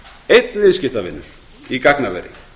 einn viðskiptavinur í gagnaveri